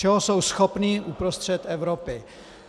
Čeho jsou schopni uprostřed Evropy!